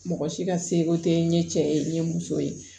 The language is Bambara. Mɔgɔ si ka seko tɛ n ye cɛ ye n ye muso ye